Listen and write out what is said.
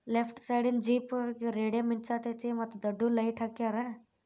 Left ಸೈಡೀನ್ jeep radium ಮಿಂಚಾಕ್ತೈತೆ ಮತ್ತ್ ದೊಡ್ಡ ಲೈಟ್ ಹಾಕ್ಯಾರಾ.